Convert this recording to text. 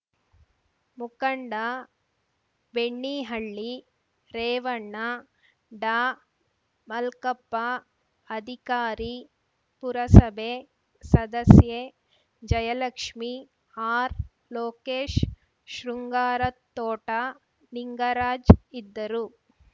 ಮುಖಂಡ ಬೆಣ್ಣಿಹಳ್ಳಿ ರೇವಣ್ಣ ಡಾಮಲ್ಕಪ್ಪ ಅಧಿಕಾರಿ ಪುರಸಭೆ ಸದಸ್ಯೆ ಜಯಲಕ್ಷ್ಮಿ ಆರ್‌ಲೋಕೇಶ್‌ ಶೃಂಗಾರತೋಟ ನಿಂಗರಾಜ್‌ ಇದ್ದರು